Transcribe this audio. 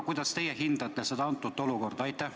Kuidas teie seda olukorda hindate?